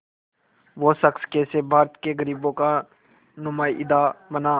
वो शख़्स कैसे भारत के ग़रीबों का नुमाइंदा बना